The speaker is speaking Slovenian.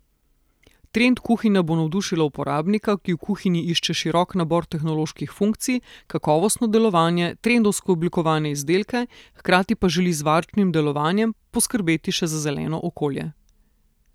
Trend kuhinja bo navdušila uporabnika, ki v kuhinji išče širok nabor tehnoloških funkcij, kakovostno delovanje, trendovsko oblikovane izdelke, hkrati pa želi z varčnim delovanjem poskrbeti še za zeleno okolje.